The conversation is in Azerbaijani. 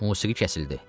Musiqi kəsildi.